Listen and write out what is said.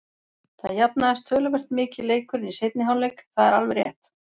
Það jafnaðist töluvert mikið leikurinn í seinni hálfleik, það er alveg rétt.